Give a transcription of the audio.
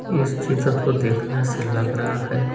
इस चित्र को देखने से लग रहा है--